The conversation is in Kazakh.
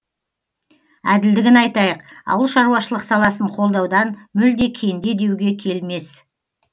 әділдігін айтайық ауылшаруашылық саласын қолдаудан мүлде кенде деуге келмес